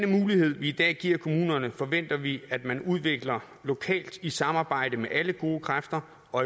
mulighed vi i dag giver kommunerne forventer vi at man udvikler lokalt i samarbejde med alle gode kræfter og